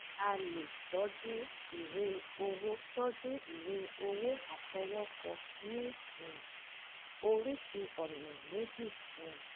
a lè tọ́jú ìwé owó tọ́jú ìwé owó àfọwọ́kọ ní um oríṣii ọ̀nà méjì um: